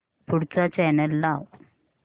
पुढचा चॅनल लाव